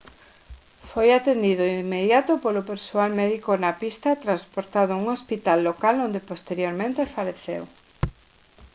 foi atendido de inmediato polo persoal médico na pista e transportado a un hospital local onde posteriormente faleceu